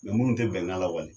Minnu tɛ bɛnkan lawaleya.